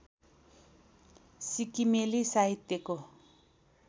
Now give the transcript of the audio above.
सिक्किमेली साहित्यको